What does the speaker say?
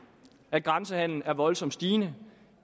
grænsehandelens voldsomme stigning